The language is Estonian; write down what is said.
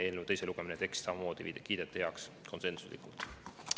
Eelnõu teise lugemise tekst kiideti samamoodi heaks konsensuslikult.